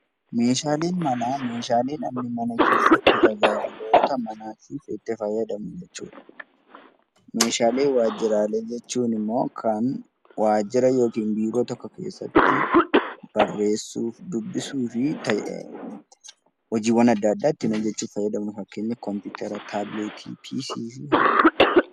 Meeshaalee manaa jechuun meeshaalee namni mana keessatti itti fayyadamu jechuudha. Meeshaalee waajjiraa jechuun immoo kan waajjira yookiin Biiroo tokko keessatti barreessuu dubbisuun fi hojiiwwan adda addaa ittiin hojjechuuf garagaru fakkeenyaaf kompiitera taabileetii fi kanneen kana fakkaatanidha.